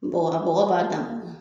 Bagɔba bɔgɔ b'a tagan.